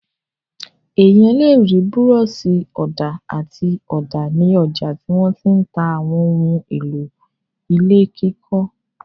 Ènìyàn le rí búrọ́ṣì-ọ̀dà àti ọ̀dà ní ọjà tí wọ́n ti ń ta àwọn ohun-èlò ilé kíkọ́.